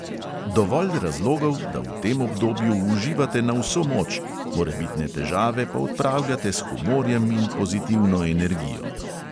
Dovolj razlogov, da v tem obdobju uživate na vso moč, morebitne težave pa odpravljate s humorjem in pozitivno energijo.